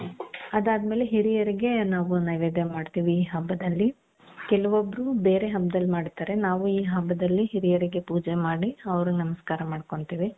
ಅದಾದ್ಮೇಲೆ ಹಿರಿಯರಿಗೆ ನಾವು ನೈವೇದ್ಯ ಮಾಡ್ತೀವಿ ಈ ಹಬ್ಬದಲ್ಲಿ ಕೆಲವೊಬ್ರು ಬೇರೆ ಹಬ್ದಲ್ಲಿ ಮಾಡ್ತಾರೆ ನಾವು ಈ ಹಬ್ಬದಲ್ಲಿ ಹಿರಿಯರಿಗೆ ಪೂಜೆ ಮಾಡಿ ಅವರಿಗೆ ನಮಸ್ಕಾರ ಮಾಡ್ಕೊಳ್ತೀವಿ .